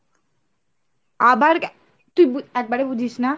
আবার তুই একবারে বুঝিস না?